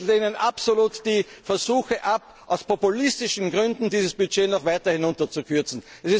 zum Wachstum leistet. Wir lehnen absolut die Versuche ab, aus populistischen Gründen dieses Budget